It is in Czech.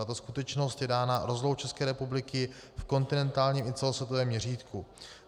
Tato skutečnost je dána rozlohou České republiky v kontinentálním i celosvětovém měřítku.